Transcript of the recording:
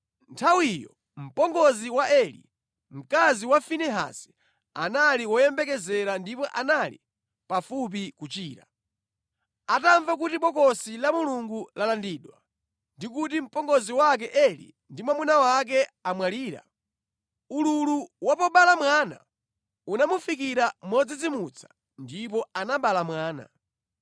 Nthawiyo, mpongozi wa Eli, mkazi wa Finehasi anali woyembekezera ndipo anali pafupi kuchira. Atamva kuti Bokosi la Mulungu lalandidwa ndi kuti mpongozi wake Eli ndi mwamuna wake amwalira, ululu wa pobereka mwana unamufikira modzidzimutsa ndipo anabereka mwana.